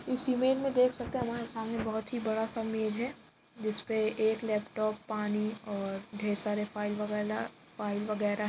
इस इमेज मे देख सकते हैं हमारे सामने बोहोत ही बड़ा सा मेज़ है जिस पे एक लैपटॉप पानी और ढेर सारे फ़ाइल वगेला फ़ाइल वगेरा --